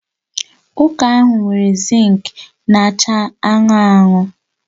Ụka ahụ nwere zink na-acha anụnụ anụnụ